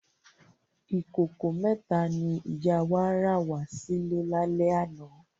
Ikókó mètá ni ìyá wá rá wà silè lálè àná